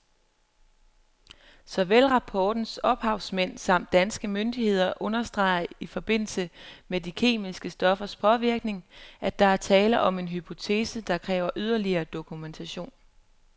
Såvel rapportens ophavsmænd samt danske myndigheder understreger i forbindelse med de kemiske stoffers påvirkning, at der er tale om en hypotese, der kræver yderligere dokumentation.